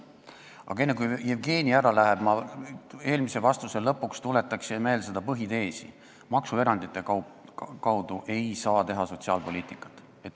Aga enne kui Jevgeni ära läheb, ma eelmise vastuse lõpuks tuletan meelde põhiteesi: maksuerandite kaudu ei saa teha sotsiaalpoliitikat.